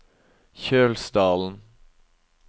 Kjølsdalen